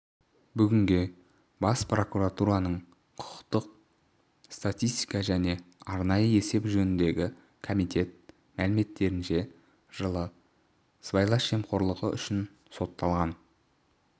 бүгінге бас прокуратураның құқықтық статистика және арнайы есеп жөніндегі комитет мәліметтерінше жылы сыбайлас жемқорлығы үшін сотталған